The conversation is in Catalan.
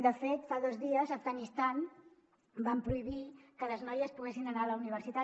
de fet fa dos dies a afganistan van prohibir que les noies poguessin anar a la universitat